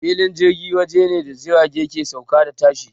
Filin jirgi waje ne da jirgi ke sauka da tashi.